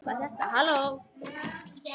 Og alltaf stuð á minni.